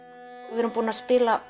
við erum búin að spila